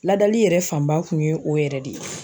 Ladali yɛrɛ fanba kun ye o yɛrɛ de ye.